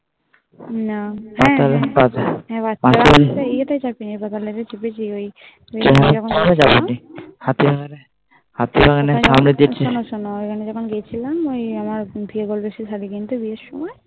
না হ্যাঁ ওই এই টাই চাপি নাই Tram হাতিবাগানের সামনে ওই শোনো শোনো আমি যখন গিয়েছিলাম শাড়ি কিনতে